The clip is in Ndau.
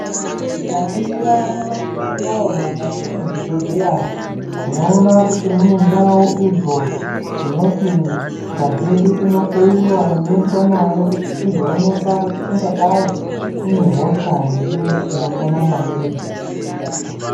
Tikaringira nyamashi unoo mukati mwezvibhehlera tinoona kuti mune ndau idzo dzinoti ngazi yedu inohloyiwa yoendwa nayo kuti izoonekwa kuti ingadai ine hosha here inopona mairi.